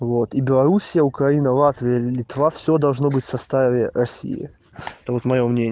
вот и белоруссия украина латвия литва все должно быть в составе россии